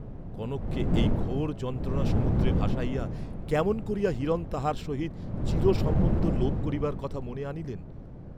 কনককে এই ঘোর যন্ত্রণাসমুদ্রে ভাসাইয়া কেমন করিয়া হিরণ তাহার সহিত চিরসম্বন্ধ লোপ করিবার কথা মনে আনিলেন!